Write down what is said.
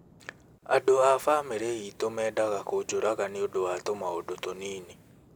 "Andũ a famĩlĩ itũ mendaga kũnjũraga nĩ ũndũ wa tũmaũndũ tũnini".